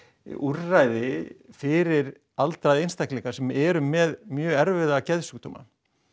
úrræði fyrir aldraða einstaklinga sem eru með mjög erfiða geðsjúkdóma